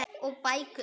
Og bækur.